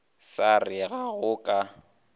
sa re ga go ka